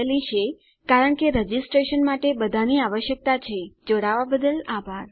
IIT Bombay તરફથી spoken tutorial project માટે ભાષાંતર કરનાર હું જ્યોતી સોલંકી વિદાય લઉં છું